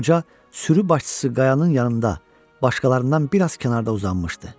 Qoca sürü başçısı qayanın yanında başqalarından bir az kənarda uzanmışdı.